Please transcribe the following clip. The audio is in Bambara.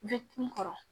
n kɔrɔ